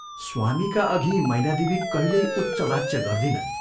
स्वामीका अघि मैनादेवी कहिल्यै उच्च वाच्य गर्दिनन्।